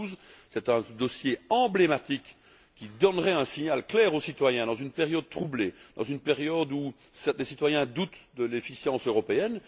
112? C'est là un dossier emblématique, qui donnerait un signal clair aux citoyens, dans une période troublée, dans une période où les citoyens doutent de l'efficience européenne.